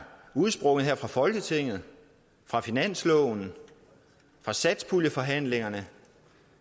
udsprunget her fra folketinget fra finansloven fra satspuljeforhandlingerne